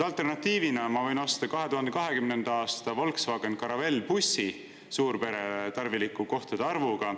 Alternatiivina ma võin osta 2020. aasta Volkswagen Caravelle bussi suurperele tarviliku kohtade arvuga.